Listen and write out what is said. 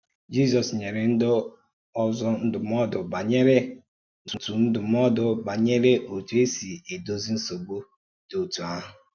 Jízọ́s nyere ǹdí ọ̀zọ̀ ndụ́mòdù gbànèré òtù ndụ́mòdù gbànèré òtù èsì edòzì nsọ̀gbù dị otú àhụ̀.